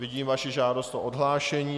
Vidím vaši žádost o odhlášení.